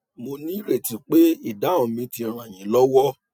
mo ní ìrètí pé ìdáhùn mi ti ràn yín lọwọ